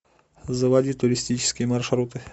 заводи туристические маршруты